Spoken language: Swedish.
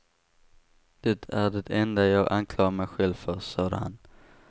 Det är det enda jag anklagar mig själv för, sade han.